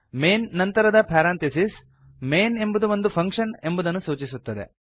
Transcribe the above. main ನಂತರದ parenthesis main ಎಂಬುದು ಒಂದು ಫಂಕ್ಷನ್ ಎಂಬುದನ್ನು ಸೂಚಿಸುತ್ತದೆ